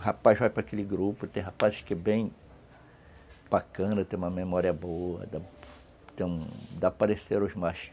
O rapaz vai para aquele grupo, tem rapazes que é bem bacana, tem uma memória boa, tem, dá para os mais